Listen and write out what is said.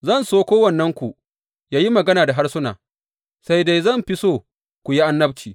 Zan so kowannenku yă yi magana da harsuna, sai dai zan fi so ku yi annabci.